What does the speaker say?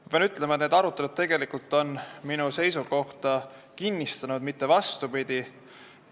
Ma pean ütlema, et need arutelud on minu seisukohta kinnistanud, mitte vastupidi.